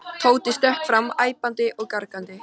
Tóti stökk fram æpandi og gargandi.